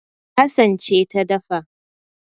Hassan ce ta dafa